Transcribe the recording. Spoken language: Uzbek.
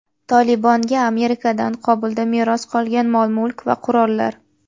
"Tolibon"ga Amerikadan Qobulda meros qolgan mol -mulk va qurollar.